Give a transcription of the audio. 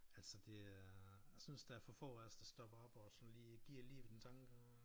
Altså det er jeg synes der er for få af os der stopper op og sådan lige giver lige en tanke og øh